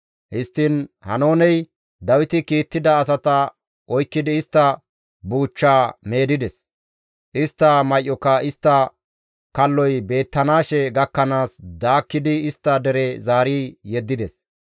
Histtiin Haanooney Dawiti kiittida asata oykkidi istta buuchchaa meedides; istta may7oka istta kalloy beettanaashe gakkanaas daakkidi istta dere zaari yeddides.